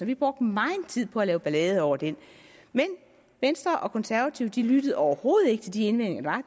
vi brugte megen tid på at lave ballade over den men venstre og konservative lyttede overhovedet ikke til de indvendinger